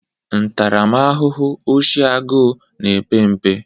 Ntaramahụhụ oshi agụụ na-epe mpe.